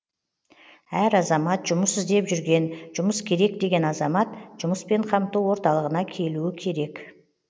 әр азамат жұмыс іздеп жүрген жұмыс керек деген азамат жұмыспен қамту орталығына келуі керек